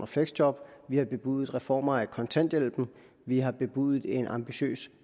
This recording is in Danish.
fleksjob vi har bebudet reformer af kontanthjælpen vi har bebudet en ambitiøs